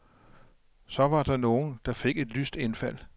Så var der nogen, der fik et lyst indfald.